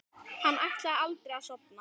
Hann ætlaði aldrei að sofna.